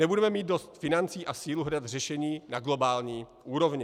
Nebudeme mít dost financí a sílu hledat řešení na globální úrovni.